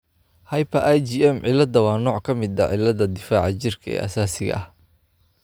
Hyper IgM cilada waa nooc ka mid ah cilladda difaaca jirka ee aasaasiga ah.